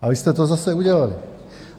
A vy jste to zase udělali!